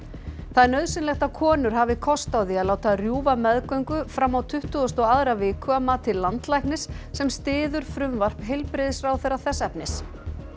það er nauðsynlegt að konur hafi kost á því að láta rjúfa meðgöngu fram á tuttugustu og aðra viku að mati landlæknis sem styður frumvarp heilbrigðisráðherra þess efnis